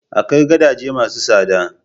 Akwai gadaje ma su tsada